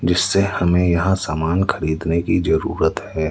जिससे हमें यहां सामान खरीदने की जरूरत है।